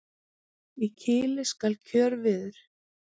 Í kili skal kjörviður.